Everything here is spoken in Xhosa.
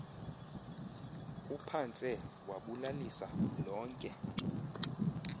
uphantse wabulalisa lonke